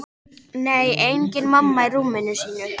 Nei, engin mamma í rúminu sínu.